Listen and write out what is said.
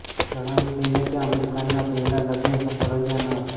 જણાવી દઈએ કે આમિર ખાનના પહેલા લગ્ન સફળ રહ્યા ન હતા